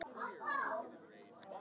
Hvaðan hefur þú það?